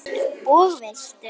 Og veistu.